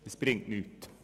Das bringt nichts.